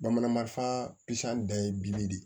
Bamananfaaan pisi dɔ ye bili de ye